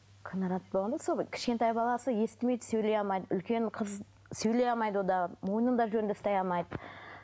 кінәрат болғанда сол кішкентай баласы естімейді сөйлей алмайды үлкен қыз сөйлей алмайды ол да мойнын да жөнді ұстай алмайды